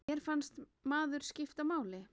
Manni fannst maður skipta máli.